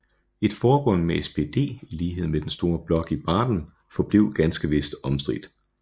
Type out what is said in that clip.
Et forbund med SPD i lighed med den store blok i Baden forblev ganske vist omstridt